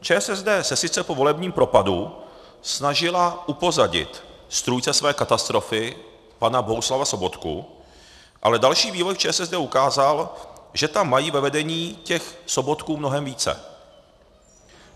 ČSSD se sice po volebním propadu snažila upozadit strůjce své katastrofy pana Bohuslava Sobotku, ale další vývoj v ČSSD ukázal, že tam mají ve vedení těch Sobotků mnohem více.